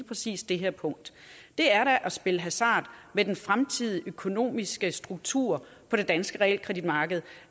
præcis det her punkt det er da at spille hasard med den fremtidige økonomiske struktur på det danske realkreditmarked